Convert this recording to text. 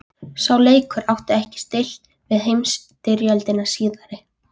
Heimilisfólkið fór flestallt með, enda þurfti mikinn liðsafnað.